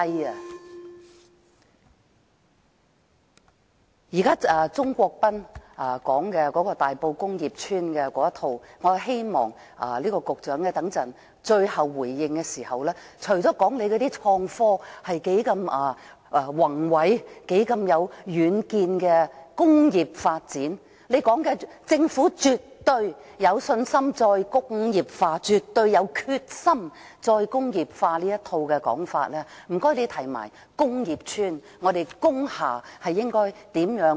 對於鍾國斌議員有關大埔工業邨的一套說法，我希望局長在最後回應時，除了告訴我們創科工業發展是多麼偉大，多有遠見，政府絕對有信心、有決心"再工業化"外，亦請談談如何放寬工業邨和工廠大廈的用途。